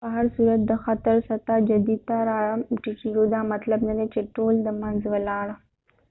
په هر صورت د خطر سطح جدي ته را ټیټیدو دا مطلب نه دي چې ټول د منځ ولاړ